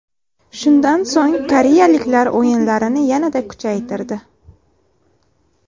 Shundan so‘ng koreyaliklar o‘yinlarini yanada kuchaytirdi.